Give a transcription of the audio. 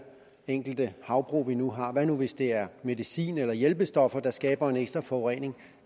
enkelte havbrug vi nu har hvad nu hvis det er medicin eller hjælpestoffer der skaber en ekstra forurening